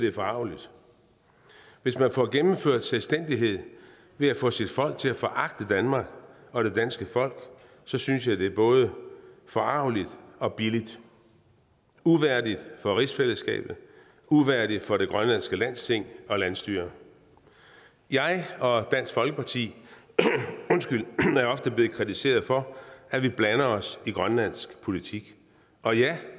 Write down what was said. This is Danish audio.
er forargeligt hvis man får gennemført selvstændighed ved at få sit folk til at foragte danmark og det danske folk så synes jeg det er både forargeligt og billigt uværdigt for rigsfællesskabet uværdigt for det grønlandske landsting og landsstyre jeg og dansk folkeparti er ofte blevet kritiseret for at vi blander os i grønlands politik og ja